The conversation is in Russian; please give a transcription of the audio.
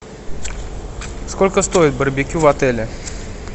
сколько стоит барбекю в отеле